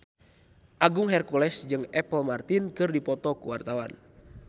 Agung Hercules jeung Apple Martin keur dipoto ku wartawan